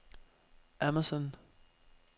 Amazon